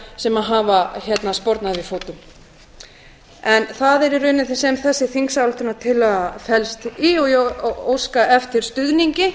sem hafa spornað við fótum það er í rauninni það sem þessi þingsályktunartillaga felst í og ég óska eftir stuðningi